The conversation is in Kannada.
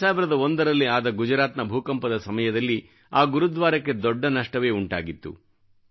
2001ರಲ್ಲಿ ಆದ ಗುಜರಾತ್ನ ಭೂಕಂಪದ ಸಮಯದಲ್ಲಿ ಆ ಗುರುದ್ವಾರಕ್ಕೆ ದೊಡ್ಡ ನಷ್ಟವೇ ಉಂಟಾಗಿತ್ತು